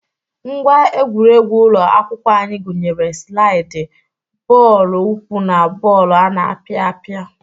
Ngwa egwuregwu ụlọ akwụkwọ anyị gụnyere slaiịdị, bọọlụ ụkwụ na bọọlụ ana apịa apịa.